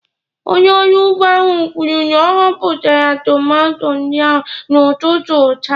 Onye ọrụ ugbo ahụ kwuru na ọ họpụtara tomato ndị ahụ n'ụtụtụ taa.